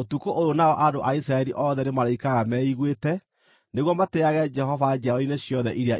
ũtukũ ũyũ nao andũ a Isiraeli othe nĩmarĩikaraga meiguĩte nĩguo matĩĩage Jehova njiarwa-inĩ ciothe iria igooka.